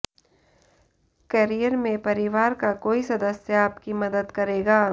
career में परिवार का कोई सदस्य आपकी मदद करेगा